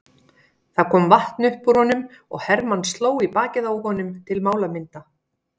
Það kom vatn upp úr honum og Hermann sló í bakið á honum til málamynda.